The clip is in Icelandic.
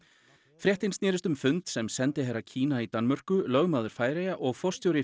fréttin snerist um fund sem sendiherra Kína í Danmörku lögmaður Færeyja og forstjóri